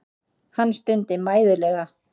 Hann stundi mæðulega.